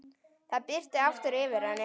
Það birti aftur yfir henni.